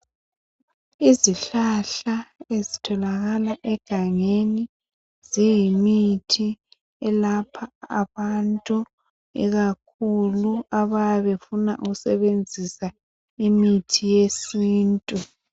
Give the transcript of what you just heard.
Izihlahla ezitholakala egangeni ziyimithi elapha abantu ikakhulu abayabe befuna ukusebenzisa imithi yesintu.